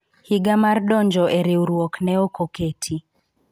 higa mar donjro e riwruok ne ok oketi